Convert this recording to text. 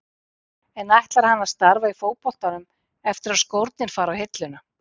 En ætlar hann að starfa í fótboltanum eftir að skórnir fara á hilluna?